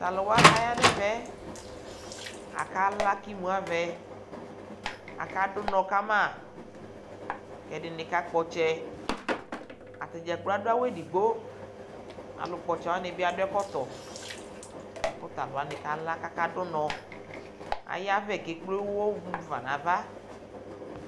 Tʋ alʋ wa kʋ aya nʋ ɛmɛ yɛ, akala kʋ imu avɛ Akadʋ ʋnɔ ka ma kʋ ɛdɩnɩ kakpɔ ɔtsɛ Ata dza gblo adʋ awʋ edigbo Alʋkpɔ ɔtsɛ wanɩ bɩ adʋ ɛkɔtɔ la kʋ tʋ alʋ wanɩ kala kʋ akadʋ ʋnɔ Ayavɛ kʋ ekple ʋɣɔ mu fa nʋ ava